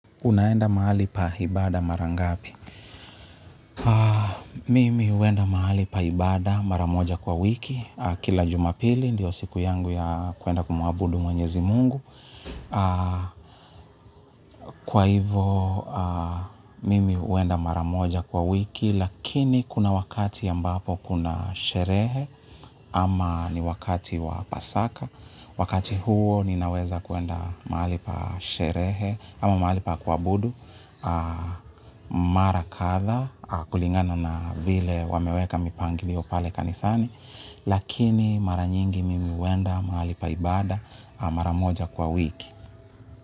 Unaenda mahali pa hibada mara ngapi? Mimi huenda mahali pa hibada mara moja kwa wiki. Kila jumapili, ndio siku yangu ya kwenda kumwabudu mwenyezi Mungu. Kwa hivo mimi huenda mara moja kwa wiki lakini kuna wakati ambapo kuna sherehe ama ni wakati wa pasaka. Wakati huo, ninaweza kuenda mahali pa sherehe, ama mahali pa kuabudu, mara katha kulingano na vile wameweka mipangilio pale kanisani lakini mara nyingi mimi huenda mahali paibada mara moja kwa wiki.